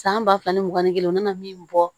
San ba fila ni mugan ni kelen o nana min bɔ